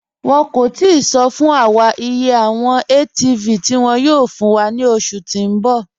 Wọn kò tìí sọ̀ fún wà iye awọn ATV tí wọn yóò fún wà ni oṣù tí n bọ̀.